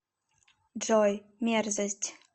джой мерзость